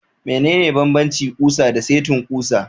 Mene ne banbanci kusa da setin kusa?